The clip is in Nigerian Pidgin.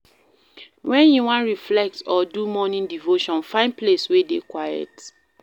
When you wan reflect or do morning devotion, find place wey dey quiet